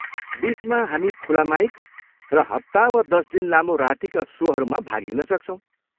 बिचमा, हामी खुला माइक र हप्ता वा दस दिन लामो रातिका सोहरूमा भाग लिन सक्छौँ।